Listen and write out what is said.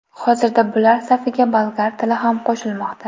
Hozirda bular safiga bolgar tili ham qo‘shilmoqda.